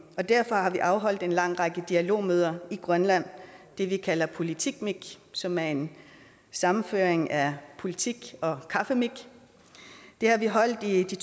og derfor har vi afholdt en lang række dialogmøder i grønland det vi kalder politikmik som er en sammenføjning af politik og kaffemik det har vi holdt i de